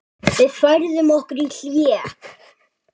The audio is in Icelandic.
Við færðum okkur í hléi.